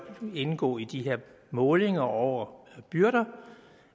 indgå i de her målinger over byrder